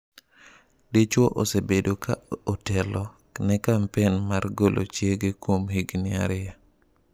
Dichuo osebedo ka otelo ne kampen mar golo chiege kuom higni ariyo.